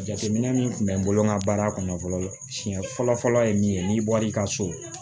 Jateminɛ min tun bɛ n bolo n ka baara kɔnɔ fɔlɔ siɲɛ fɔlɔ fɔlɔ ye min ye n'i bɔl'i ka so